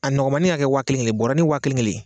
A nɔgɔnmanin k'a kɛ wa kelen kelen ye bɔɔrɔnin wa kelen kelen.